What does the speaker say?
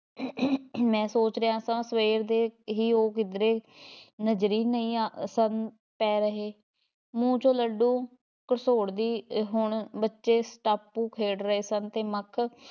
ਮੈਂ ਸੋਚ ਰਿਹਾ ਸਾਂ ਸਵੇਰ ਦੇ ਹੀ ਉਹ ਕਿਧਰੇ ਨਜ਼ਰੀ ਨਹੀਂ ਆ ਸਨ ਪੈ ਰਹੇ, ਮੂੰਹ ਚੋਂ ਲੱਡੂ ਘਸੋੜਦੀ ਅਹ ਹੁਣ ਬੱਚੇ ਸ਼ਟਾਪੂ ਖੇਡ ਰਹੇ ਸਨ ਤੇ ਮਖ਼